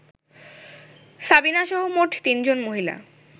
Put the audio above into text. সাবিনাসহ মোট তিনজন মহিলা